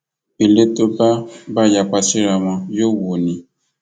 ilé tó bá bá yapa síraa wọn yóò wó ni